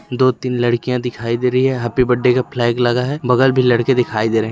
दो तीन लड़कियां दिखाई दे रही हैं हैप्पी बर्थडे का फ्लैग लगा हैं बगल में लडके दिखाई दे रहे हैं।